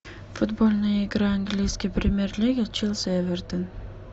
футбольная игра английской премьер лиги челси эвертон